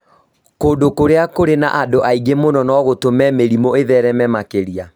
kũndũ kũrĩa kũrĩ na andũ aingĩ mũno no gũtũme mĩrimũ ĩthereme makĩria